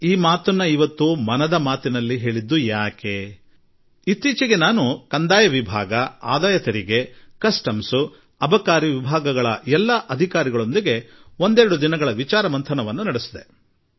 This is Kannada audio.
ನನ್ನ ದೇಶವಾಸಿಗಳೆ ಇಂದು ನಾನು ಮನದ ಮಾತಿನಲ್ಲಿ ಈ ಸಂಗತಿಯನ್ನು ಹೇಳಬೇಕಾಗಿ ಬರಲು ಕಾರಣವೆಂದರೆ ಇತ್ತೀಚೆಗೆ ತಾನೆ ನಾನು ನಮ್ಮ ರೆವಿನ್ಯೂ ವಿಭಾಗದ ಅಧಿಕಾರಿಗಳು ಅಂದರೆ ವರಮಾನ ತೆರಿಗೆ ಅಬಕಾರಿ ಹಾಗೂ ಕಸ್ಟಮ್ಸ್ ವಿಭಾಗಗಳ ಎಲ್ಲಾ ಅಧಿಕಾರಿಗೊಂದಿಗೆ ಒಂದೆರಡು ದಿನಗಳ ಜ್ಞಾನ ಸಂಗಮ ನಡೆಸಿದೆ